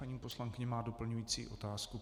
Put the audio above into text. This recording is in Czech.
Paní poslankyně má doplňující otázku.